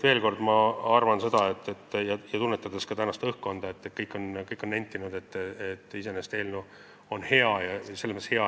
Veel kord, ma arvan seda – tunnetades ka tänast õhkkonda, seda, mida kõik on nentinud –, et eelnõu on iseenesest hea.